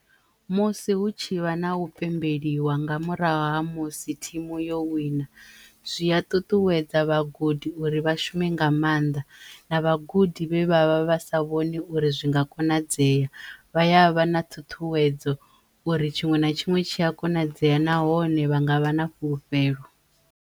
Musi hu tshi vha na u pembeliwa nga murahu ha musi thimu yo wina zwi ya ṱuṱuwedza vhagudi uri vha shume nga mannḓa na vhagudi vhe vha vha vha sa vhoni uri zwi nga konadzeya vha ya vha na ṱhuṱhuwedzo uri tshiṅwe na tshiṅwe tshi ya konadzeya nahone vha nga vha na fhulufhelo.